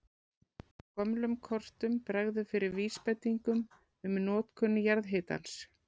Á gömlum kortum bregður fyrir vísbendingum um notkun jarðhitans.